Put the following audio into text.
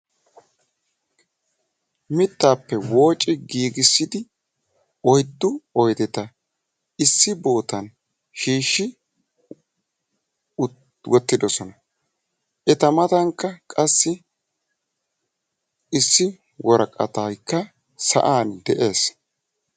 Mittaappe woocci giigissidi oyddu oyideta issi bootan shiishshi wottidosona. Eta matankka qassi issi woraqatayikka sa'an de'ees.